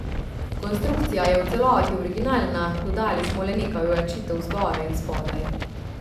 Konstrukcija je v celoti originalna, dodali smo le nekaj ojačitev zgoraj in spodaj.